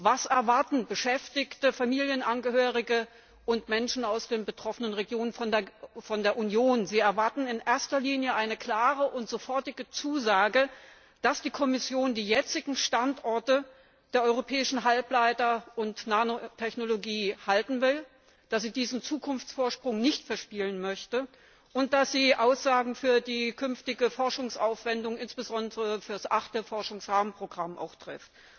Was erwarten Beschäftigte, Familienangehörige und Menschen aus den betroffenen Regionen von der Union? Sie erwarten in erster Linie eine klare und sofortige Zusage, dass die Kommission die jetzigen Standorte der europäischen Halbleiter und Nanotechnologie halten will, dass sie diesen Zukunftsvorsprung nicht verspielen möchte und dass sie Aussagen für die künftige Forschungsaufwendung, insbesondere für das achte Forschungsrahmenprogramm trifft.